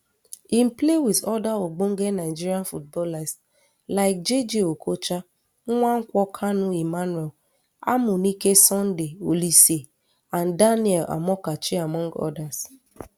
im play wit oda ogbonge nigerian footballers like jayjay okocha nwankwo kanu emmanuel amuneke sunday oliseh and daniel amokachi among others